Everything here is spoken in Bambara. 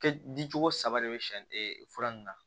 Kɛ di cogo saba de bɛ siɲɛ fura nunnu na